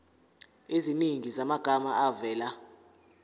eziningi zamagama avela